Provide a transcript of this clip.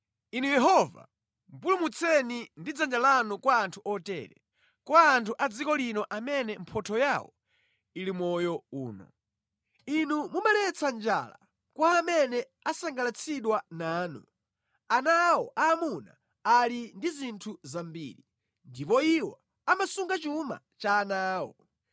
Inu Yehova, pulumutseni ndi dzanja lanu kwa anthu otere, kwa anthu a dziko lino amene mphotho yawo ili mʼmoyo uno. Inu mumaletsa njala kwa amene asangalatsidwa nanu; ana awo aamuna ali ndi zinthu zambiri, ndipo iwo amasunga chuma cha ana awo.